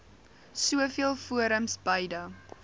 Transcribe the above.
soveel forums beide